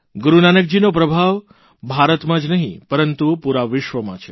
ગુરૂનાકજીનો પ્રભાવ ભારતમાં જ નહિં પરંતુ પુરા વિશ્વમાં છે